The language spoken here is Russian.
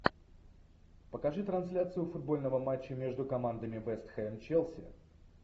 покажи трансляцию футбольного матча между командами вест хэм челси